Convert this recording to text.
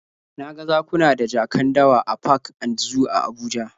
Na ga zakuna da jakan dawa a park and zoo a Abuja